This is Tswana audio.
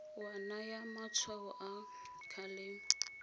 wa naya matshwao a kgalemo